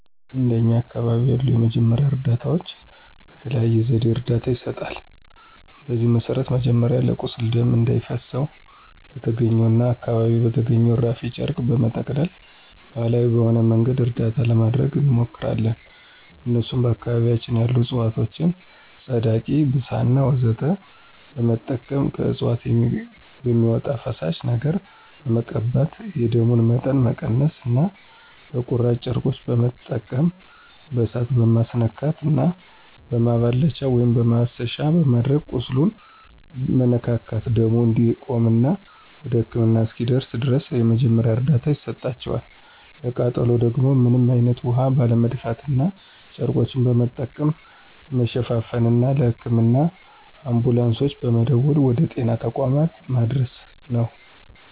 እንደኛ አካባቢ ያሉ የመጀመሪያ እርዳታዎች በተለያየ ዘዴ እርዳታ ይሰጣል። በዚህም መሰረት መጀመሪያ ለቁስል ደም እንዳይፈሰው በተገኘውና አካባቢው በተገኘው እራፊ ጨርቅ በመጠቅለልና ባሀላዊ በሆነ መንገድ እርዳታ ለማድረግ እንሞክራለን እነሱም በአካባቢያችን ያሉ እፅዋቶችን ፀዳቂ፣ ብሳና ወዘተ በመጠቀም ከእፅዋቶች በሚወጣው ፈሳሽ ነገር በመቀባት የደሙን መጠን መቀነስና በቁራጭ ጨርቆች በመጠቀም በእሳት መማስነካትና በማላበቻ(ማሰሻ)በማድረግ ቁስሉን መነካካትና ደሙ እንዲቆምና ወደ ህክምና እስኪደርስ ድረስ የመጀመሪያ እርዳታ ይሰጣቸዋል፣ ለቃጠሎ ደግሞ ምንም አይነት ውሀ ባለመድፋትና ጨርቆችን በመጠቀም መሸፋፈንና ለህክምና አንቡላንሶች በመደወል ወደ ጤና ተቋማት ማድረስ ነው።